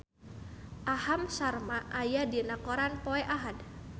Aham Sharma aya dina koran poe Ahad